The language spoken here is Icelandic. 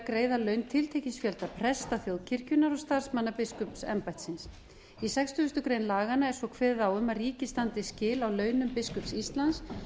greiða laun tiltekins fjölda presta þjóðkirkjunnar og starfsmanna biskupsembættisins í sextugasta grein laganna er kveðið svo á um að ríkið standi skil á launum biskups íslands